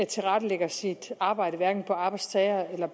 tilrettelægger sit arbejde hverken på arbejdstager eller